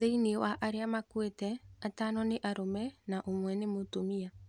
Thĩinĩ wa arĩa makuite atano nĩ arũme na ũmwe nĩ mũtumia